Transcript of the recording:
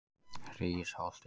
Hrísholti